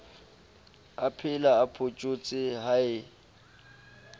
aphela o photjhotse ha e